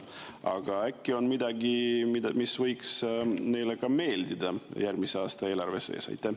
Aga äkki on midagi, mis võiks neile ka meeldida järgmise aasta eelarves?